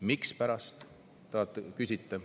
Mispärast, te küsite.